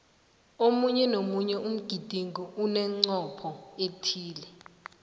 omunye nomunye umgidingo unemncopho othize